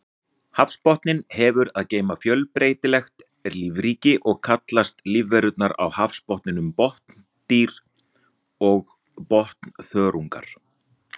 Hafsbotninn hefur að geyma fjölbreytilegt lífríki og kallast lífverurnar á botninum botndýr og botnþörungar.